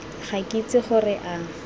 ga ke itse gore a